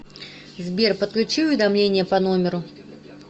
сбер подключи уведомления по номеру